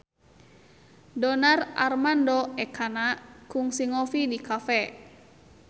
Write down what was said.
Donar Armando Ekana kungsi ngopi di cafe